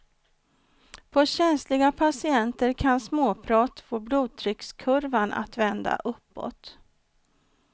På känsliga patienter kan småprat få blodtryckskurvan att vända uppåt.